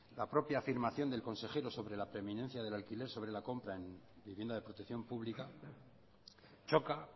la propia afirmación del consejero sobre la preeminencia del alquiler sobre la compra en vivienda de protección pública choca